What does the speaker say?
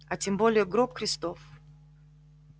а тем более гроб христов